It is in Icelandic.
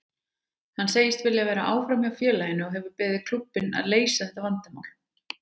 Hann segist vilja vera áfram hjá félaginu og hefur beðið klúbbinn að leysa þetta vandamál.